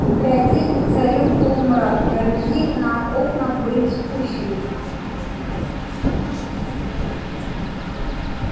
в библиотеке царил полумрак жалюзи на окнах были спущены